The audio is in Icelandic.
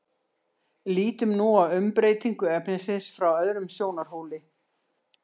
lítum nú á umbreytingu efnisins frá öðrum sjónarhóli